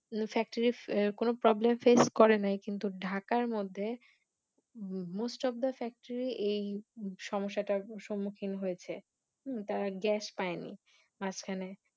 Factory কোন problem Face করে নাই কিন্তু ঢাকার মধ্যে Most of the factory এই সমস্যাটার সম্মুখীন হয়েছে তারা Gas পায় নি মাঝখানে